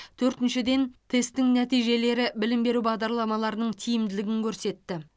төртіншіден тесттің нәтижелері білім беру бағдарламаларының тиімділігін көрсетті